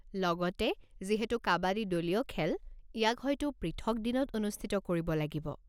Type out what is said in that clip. লগতে, যিহেতু কাবাদী দলীয় খেল, ইয়াক হয়তো পৃথক দিনত অনুষ্ঠিত কৰিব লাগিব।